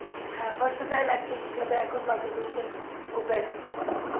হ্যাঁ actor হিসাবে বাংলাদেশে ও best